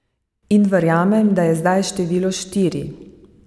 In verjamem, da je zdaj število štiri.